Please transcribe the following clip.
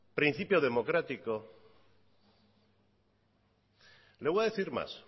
principio democrático le voy a decir más